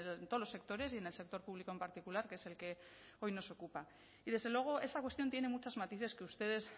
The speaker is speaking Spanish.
en todos los sectores y en el sector público en particular que es el que hoy nos ocupa y desde luego esta cuestión tiene muchos matices que ustedes